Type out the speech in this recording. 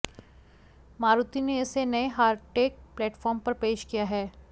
मारुति ने इसे नए हार्टेक्ट प्लेटफॉर्म पर पेश किया है